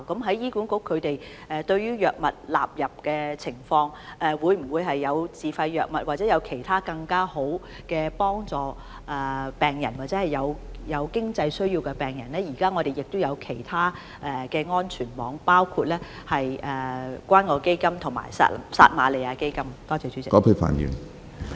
對於醫管局納入藥物的情況，以及會否有自費藥物或其他更好的方法可以幫助到有經濟需要的病人的問題，醫管局現時是設有其他安全網的，包括關愛基金及撒瑪利亞基金。